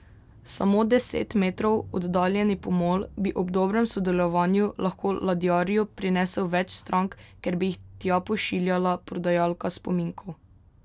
Samo deset metrov oddaljeni pomol bi ob dobrem sodelovanju lahko ladjarju prinesel več strank, ker bi jih tja pošiljala prodajalka spominkov.